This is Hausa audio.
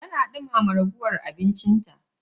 Tana duma ragowar abinci ta.